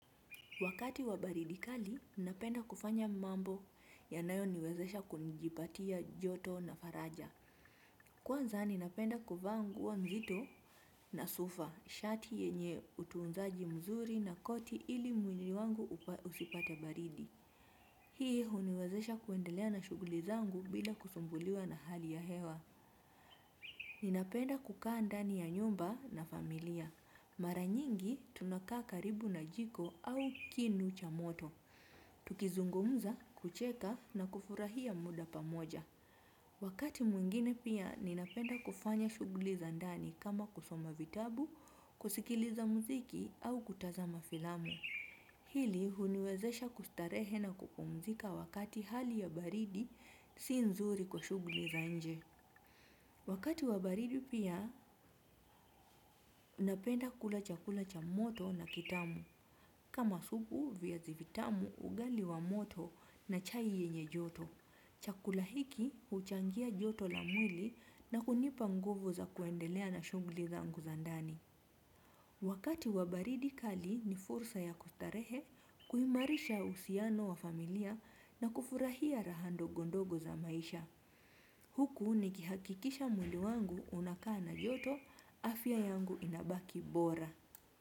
Wakati wa baridi kali, ninapenda kufanya mambo yanayo niwezesha kujipatia joto na faraja. Kwanza ninapenda kuvaa nguo nzito na sufa, shati yenye utuunzaji mzuri na koti ili mwili wangu usipate baridi. Hii huniwezesha kuendelea na shuguli zangu bila kusumbuliwa na hali ya hewa. Ninapenda kukaa ndani ya nyumba na familia. Mara nyingi tunakaa karibu na jiko au kinu cha moto. Tukizungumza, kucheka na kufurahia muda pamoja. Wakati mwingine pia ninapenda kufanya shughuli za ndani kama kusoma vitabu, kusikiliza muziki au kutazama filamu. Hili huniwezesha kustarehe na kupumzika wakati hali ya baridi si nzuri kwa shughuli za nje. Wakati wa baridi pia napenda kula chakula cha moto na kitamu. Kama supu viazi vitamu ugali wa moto na chai yenye joto. Chakula hiki huchangia joto la mwili na kunipa nguvu za kuendelea na shunguli zangu za ndani. Wakati wa baridi kali ni fursa ya kustarehe kuimarisha uhusiano wa familia na kufurahia raha ndogo ndogo za maisha. Huku ni kihakikisha mwili wangu unakaa na joto afya yangu inabaki bora.